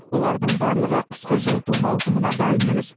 олардың барлығы қысқы жылыту маусымына дайын емес